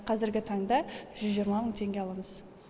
қазіргі таңда жүз жиырма мың теңге аламыз